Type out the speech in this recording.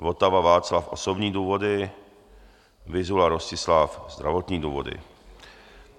Votava Václav - osobní důvody, Vyzula Rostislav - zdravotní důvody.